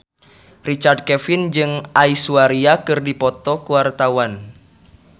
Richard Kevin jeung Aishwarya Rai keur dipoto ku wartawan